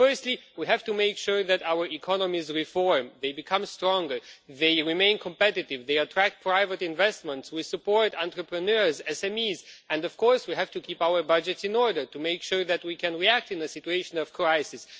Firstly, we have to make sure that our economies reform, that they become stronger, they remain competitive, they attract private investment, that we support entrepreneurs, SMEs, and of course we have to keep to our budgets in order to make sure that we can react in a situation of crisis.